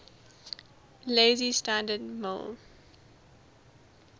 lazy standard ml